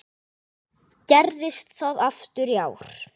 Gerðist það aftur í ár.